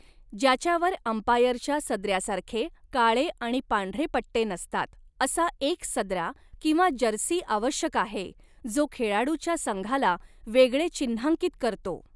ज्याच्यावर अंपायरच्या सदऱ्यासारखे काळे आणि पांढरे पट्टे नसतात असा एक सदरा किंवा जर्सी आवश्यक आहे, जो खेळाडूच्या संघाला वेगळे चिन्हांकित करतो.